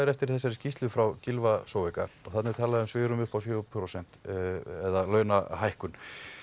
eftir þessari skýrslu frá Gylfa Zoega þarna er talað um að svigrúmið sé fjögurra prósenta launahækkun